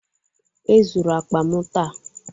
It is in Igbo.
E zuru akpa m taa